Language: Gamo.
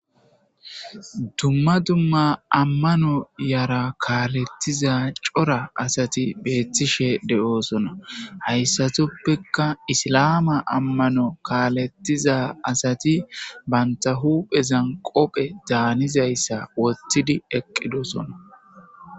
Dumma dumma ammano yara kaalettiza cora asati beettishe de7oosona. Hayssatuppekka islaama ammano kaalettiza asati bantta huphezan qophe daanizayssa wottidi eqqidosonna.